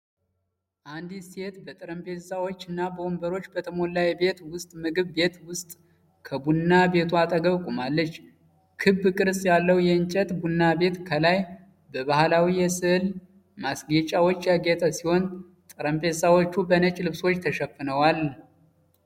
አንዲት ሴት በጠረጴዛዎች እና ወንበሮች በተሞላ የቤት ውስጥ ምግብ ቤት ውስጥ ከቡና ቤቱ አጠገብ ቆማለች። ክብ ቅርጽ ያለው የእንጨት ቡና ቤት ከላይ በባህላዊ የሥዕል ማስጌጫዎች ያጌጠ ሲሆን፣ ጠረጴዛዎቹ በነጭ ልብሶች ተሸፍነዋል።